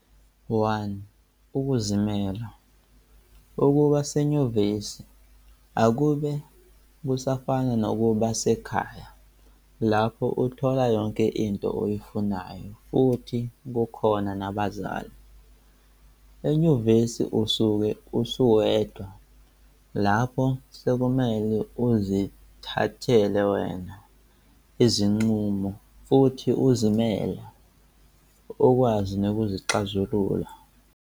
1Ukuzimela - ukuba senyuvesi akube kusafana nokuba sekhaya lapho uthola yonke into oyifunayo futhi kukhona nabazali, enyuvesi usuke usuwedwa lapho sekumele uzithathele wena izinqumo futhi izimele ukwazi nokuxazulula